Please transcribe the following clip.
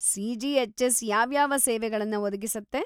CGHS. ಯಾವ್ಯಾವ ಸೇವೆಗಳನ್ನ ಒದಗಿಸತ್ತೆ?